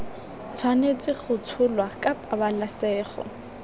tshwanetse go tsholwa ka pabalesego